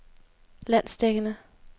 landsdækkende